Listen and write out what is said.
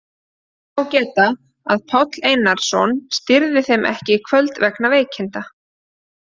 Þess má geta að Páll Einarsson stýrði þeim ekki í kvöld vegna veikinda.